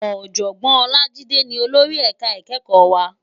Òjògbòn Olajide ni ólóri èká ikèékò wá